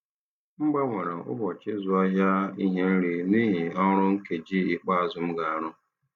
M gbanwere ụbọchị ịzụ ahịa ihe nri n'ihi ọrụ nkeji ikpeazụ m ga-arụ.